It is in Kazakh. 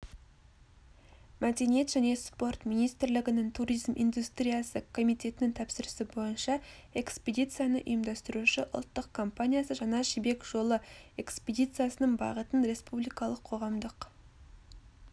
мәдениет және спорт министрлігінің туризм индустриясы комитетінің тапсырысы бойынша экспедицияны ұйымдастырушы ұлттық компаниясы жаңа жібек жолы экспедициясының бағытын республикалық қоғамдық